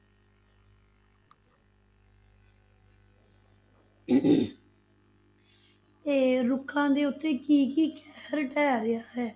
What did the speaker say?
ਤੇ ਰੁੱਖਾਂ ਦੇ ਉੱਤੇ ਕੀ ਕੀ ਕਹਿਰ ਢਹਿ ਰਿਹਾ ਹੈ?